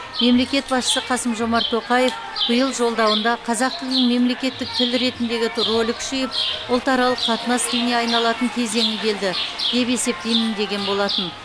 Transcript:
мемлекет басшысы қасым жомарт тоқаев биылғы жолдауында қазақ тілінің мемлекеттік тіл ретіндегі рөлі күшейіп ұлтаралық қатынас тіліне айналатын кезеңі келді деп есептеймін деген болатын